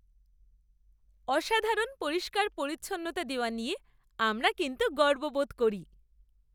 অসাধারণ পরিষ্কার পরিচ্ছন্নতা দেওয়া নিয়ে আমরা কিন্তু গর্ববোধ করি।